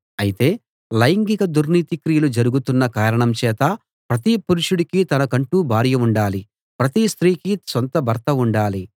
అయితే లైంగిక దుర్నీతి క్రియలు జరుగుతున్న కారణం చేత ప్రతి పురుషుడికీ తనకంటూ భార్య ఉండాలి ప్రతి స్త్రీకి సొంత భర్త ఉండాలి